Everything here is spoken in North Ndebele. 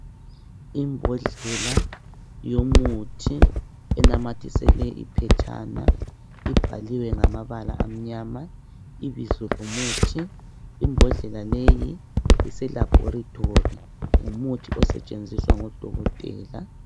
Imbodlela yomuthi enamathiselwe iphetshana ibhaliwe ngamabala amnyama ibizo lomuthi imbodlela leyi ise laboratory ngumuthi osetshenziswa ngudokotela.